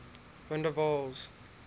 van der waals